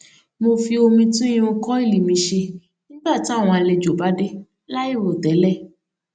mo fi omi tún irun kọìlì mi ṣe nígbà táwọn àlejò bá dé láì rò tẹlẹ